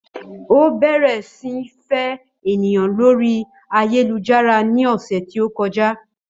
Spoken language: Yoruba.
Ó bẹ̀rẹ̀ sí ní fẹ́ ènìyàn lórí ayélujára ní ọ̀sẹ̀ tí ó kọjá